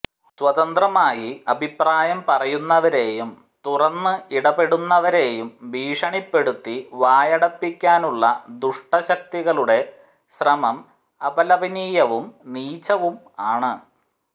സ്വതന്ത്രമായി അഭിപ്രായം പറയുന്നവരെയും തുറന്ന് ഇടപെടുന്നവരെയും ഭീഷണിപ്പെടുത്തി വായടപ്പിക്കാനുള്ള ദുഷ്ട ശക്തികളുടെ ശ്രമം അപലപനീയവും നീചവുമാണ്